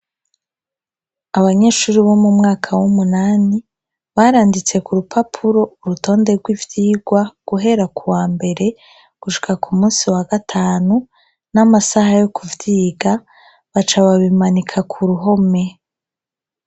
Abanyeshuri bo mu mwaka w'umunani baranditse ku rupapuro urutonde rw'ivyirwa guhera ku wa mbere gushika ku musi wa gatanu n'amasaha yo kuvyiga baca babimanika ku ruhome.